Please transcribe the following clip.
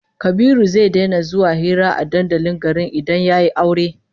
Kabiru zai daina zuwa hira a dandalin garin in dai yayi aure